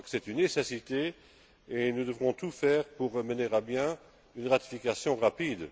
Je crois que c'est une nécessité et nous devrons tout faire pour mener à bien une ratification rapide.